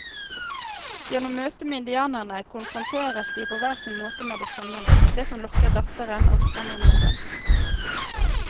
Gjennom møtet med indianerne konfronteres de på hver sin måte med det fremmede, det som lokker datteren og skremmer moren.